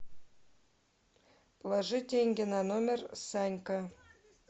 положи деньги на номер санька